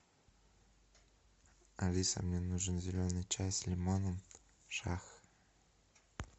алиса мне нужен зеленый чай с лимоном шах